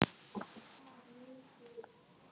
Breytast þá ráðleggingarnar eitthvað?